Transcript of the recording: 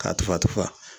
K'a tufa tufa